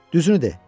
Düzünü de.